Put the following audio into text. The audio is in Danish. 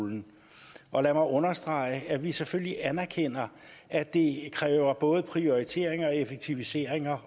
og folkeskoleområdet lad mig understrege at vi selvfølgelig anerkender at det kræver både prioriteringer og effektiviseringer